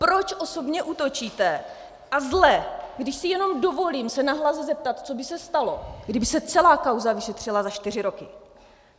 Proč osobně útočíte, a zle, když si jenom dovolím se nahlas zeptat, co by se stalo, kdyby se celá kauza vyšetřila za čtyři roky?